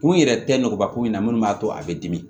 Kun yɛrɛ tɛ nɔgɔba ko in na munnu b'a to a be dimi